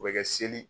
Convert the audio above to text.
O bɛ kɛ seli